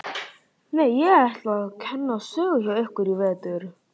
Nei, ég ætla að kenna sögu hjá ykkur í vetur.